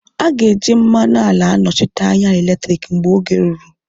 A ga-eji mmanụ ala anọchite anya eletriki mgbe oge ruru